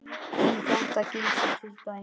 Um þetta gildir til dæmis